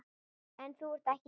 En þú ert ekki hér.